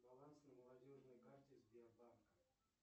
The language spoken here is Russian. баланс на молодежной карте сбербанка